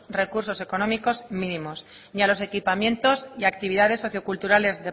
recursos económicos mínimos ni a los equipamientos y actividades socioculturales